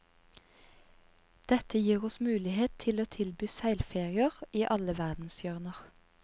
Dette gir oss mulighet til å tilby seilferier i alle verdenshjørner.